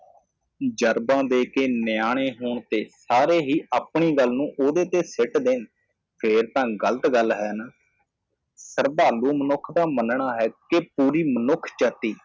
ਜਰਦਾ ਦੇਕੇ ਨਿਆਣੇ ਹੋਣ ਤੇ ਸਾਰੇ ਹੀ ਆਪਣੀ ਗੱਲ ਨੂੰ ਉਹਦੇ ਤੇ ਸਿੱਟ ਦੇਣ ਫੇਰ ਤਾਂ ਗਲਤ ਗੱਲ ਹੈ ਨਾ ਸ਼ਰਧਾਲੂ ਮਨੁੱਖ ਦਾ ਮਨਣਾ ਹੈ ਕਿ ਪੂਰੀ ਮਨੁੱਖ ਜਾਤੀ।